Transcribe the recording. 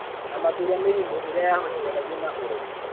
Na makĩria mĩrimũ ĩrĩa yahutithanagio na ũrogi